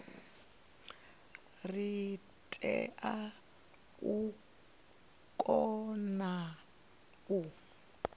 ri tea u kona u